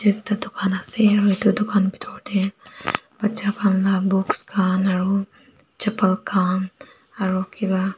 edu ekta dukan ase aro edu dukan bitor tae bacha khan la books khan aro chapal khan aro kipa--